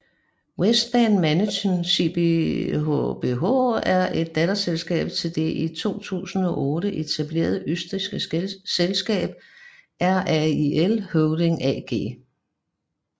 WESTbahn Management GmbH er et datterselskab til det i 2008 etablerede østrigske selskab RAIL Holding AG